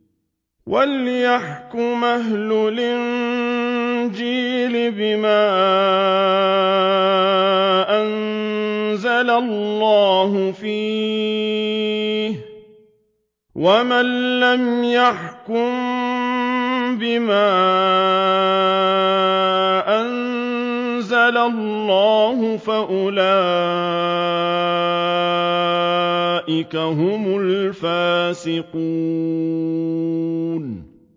وَلْيَحْكُمْ أَهْلُ الْإِنجِيلِ بِمَا أَنزَلَ اللَّهُ فِيهِ ۚ وَمَن لَّمْ يَحْكُم بِمَا أَنزَلَ اللَّهُ فَأُولَٰئِكَ هُمُ الْفَاسِقُونَ